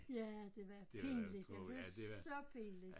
Ja det var pinligt var så pinligt